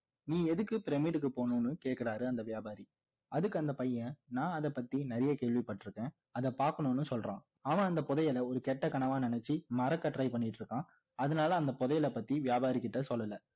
நீ எதுக்கு பிரமிடுக்கு போகணும்னு கேக்குறாரு அந்த வியாபாரி அதுக்கு அந்த பையன் நான் அதை பத்தி நிறைய கேள்வி பட்டிருக்கேன் அதை பார்க்கணும்னு சொல்றான் அவன் அந்த புதையல இரு கேட்ட கனவா நினைச்சி மறக்க try பண்ணிட்டு இருக்கான் அதனால அந்த புதையல் பத்தி வியாபாரிக்கிட்ட சொல்லல